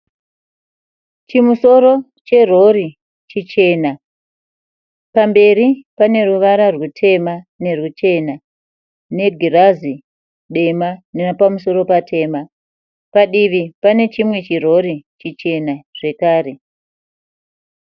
Chimusoro cherori chichena, pamberi paneruvara rwutema nerwuchena negirazi dema nepamusoro patema. Padivi panechimwe chirori chichena zvekare.